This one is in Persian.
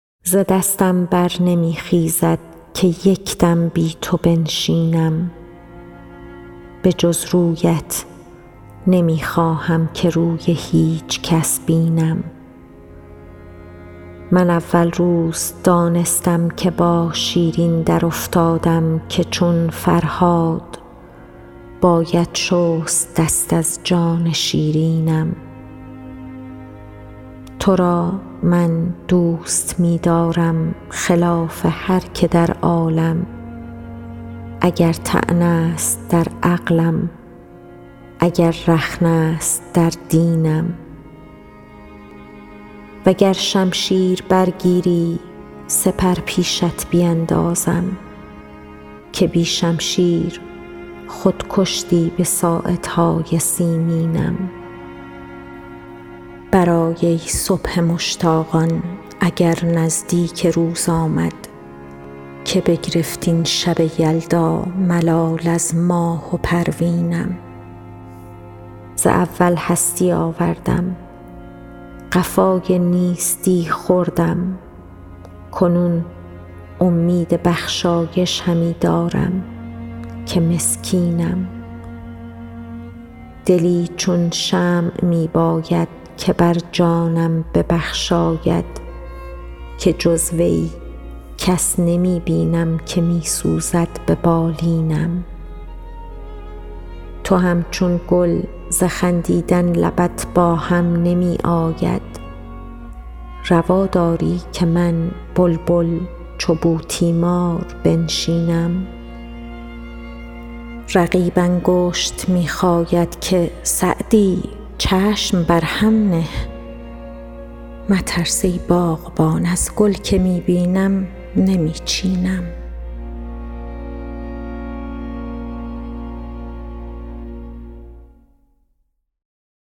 ز دستم بر نمی خیزد که یک دم بی تو بنشینم به جز رویت نمی خواهم که روی هیچ کس بینم من اول روز دانستم که با شیرین درافتادم که چون فرهاد باید شست دست از جان شیرینم تو را من دوست می دارم خلاف هر که در عالم اگر طعنه است در عقلم اگر رخنه است در دینم و گر شمشیر برگیری سپر پیشت بیندازم که بی شمشیر خود کشتی به ساعدهای سیمینم برآی ای صبح مشتاقان اگر نزدیک روز آمد که بگرفت این شب یلدا ملال از ماه و پروینم ز اول هستی آوردم قفای نیستی خوردم کنون امید بخشایش همی دارم که مسکینم دلی چون شمع می باید که بر جانم ببخشاید که جز وی کس نمی بینم که می سوزد به بالینم تو همچون گل ز خندیدن لبت با هم نمی آید روا داری که من بلبل چو بوتیمار بنشینم رقیب انگشت می خاید که سعدی چشم بر هم نه مترس ای باغبان از گل که می بینم نمی چینم